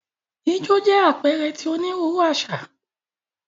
Ijó jẹ apẹẹrẹ ti oniruuru aṣa.